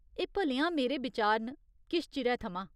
एह् भलेआं मेरे बिचार न, किश चिरै थमां।